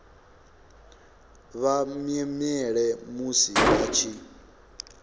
vha mwemwele musi vha tshi